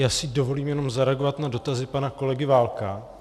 Já si dovolím jenom zareagovat na dotazy pana kolegy Válka.